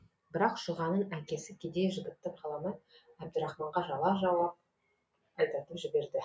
бірақ шұғаның әкесі кедей жігітті қаламай әбдірахманға жала жауып айдатып жібереді